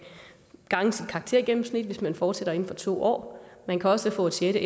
gange sit karaktergennemsnit hvis man fortsætter inden for to år man kan også få et sjette